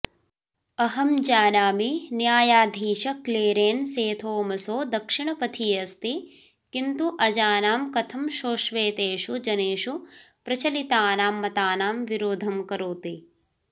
अहं जानामि न्यायाधीशक्लेरेन्सेथोमसो दक्षिणपथी अस्ति किन्तु अजानां कथं सोऽश्वेतेषु जनेषु प्रचलितानां मतानां विरोधं करोति